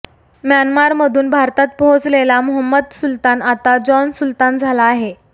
म्यानमारमधून भारतात पोहोचलेला मोहम्मद सुल्तान आता जॉन सुल्तान झाला आहे